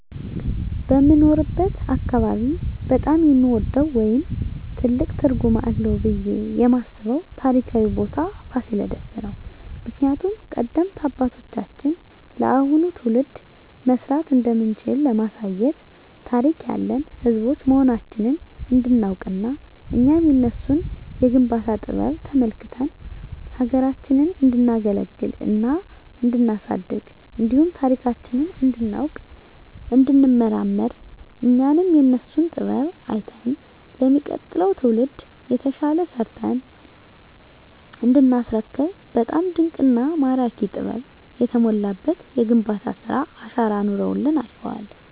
በምኖርበት አካባቢ በጣም የምወደው ወይም ትልቅ ትርጉም አለዉ ብየ የማስበው ታሪካዊ ቦታ ፋሲለደስ ነው። ምክንያቱም ቀደምት አባቶቻችን ለአሁኑ ትውልድ መስራት እንደምንችል ለማሳየት ታሪክ ያለን ህዝቦች መሆናችንን እንዲናውቅና እኛም የነሱን የግንባታ ጥበብ ተመልክተን ሀገራችንን እንዲናገለግልና እንዲናሳድግ እንዲሁም ታሪካችንን እንዲናውቅ እንዲንመራመር እኛም የነሱን ጥበብ አይተን ለሚቀጥለው ትውልድ የተሻለ ሰርተን እንዲናስረክብ በጣም ድንቅና ማራኪ ጥበብ የተሞላበት የግንባታ ስራ አሻራ አኑረውልን አልፈዋል።